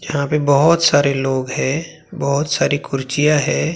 यहां पे बहोत सारे लोग है बहोत सारी कुर्चियां है।